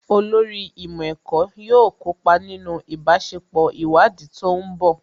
Olórí ìmọ̀ ẹ̀kọ́ yóò kópa nínú ìbáṣepọ̀ ìwádìí tó ń bọ̀